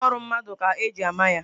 Aka ọrụ mmadụ ka eji ama ya.